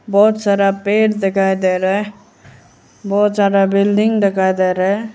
बहुत सारा पेड़ दिखाई दे रहा है बहुत ज्यादा बिल्डिंग दिखाई दे रहा है।